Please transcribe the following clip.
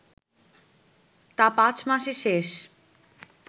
তা পাঁচ মাসে শেষ”